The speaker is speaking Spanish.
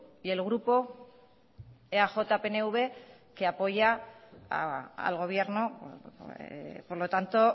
y el grupo eaj pnv que apoya al gobierno por lo tanto